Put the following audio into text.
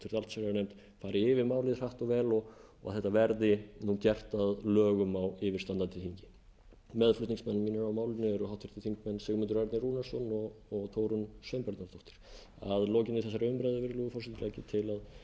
allsherjarnefnd fari yfir málið hratt og vel og þetta verði gert að lögum á yfirstandandi þingi meðflutningsmenn mínir að málinu eru háttvirtur þingmaður sigmundur ernir rúnarsson og þórunn sveinbjarnardóttir að lokinni þessari umræðu virðulegi forseti legg